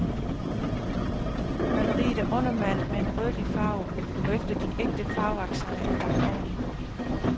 Maleriet er undermalet med en rødlig farve, hvorefter de ægte farveaccenter er lagt oven i.